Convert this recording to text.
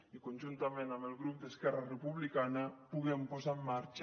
i que conjuntament amb el grup d’esquerra republicana puguem posar en marxa